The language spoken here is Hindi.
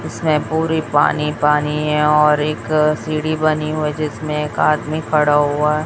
इसमें पुरी पानी पानी है और एक सीढ़ी बनी हुई जिसमें एक आदमी खड़ा हुआ है।